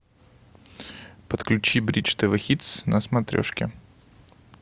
подключи бридж тв хитс на смотрешке